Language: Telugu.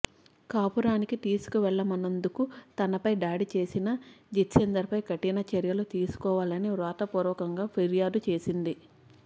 కాపురానికి తీసుకు వెళ్ళమన్నందుకు తనపై దాడి చేసిన జితేంధర్పై కఠినచర్యలు తీసుకో వాలని వ్రాత పూర్వకంగా ఫిర్యాదుచేసింది